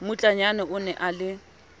mmutlanyana o ne a le